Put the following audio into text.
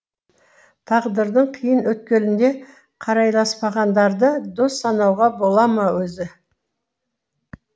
тағдырдың қиын өткелінде қарайласпағандарды дос санауға бола ма өзі